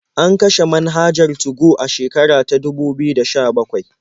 An kashe manhajar 2go a shekara ta dubu biyu da sha-bakwai.